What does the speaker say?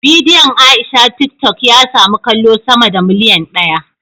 Bidiyon Aisha tiktok ya samu kallo sama da miliyan daya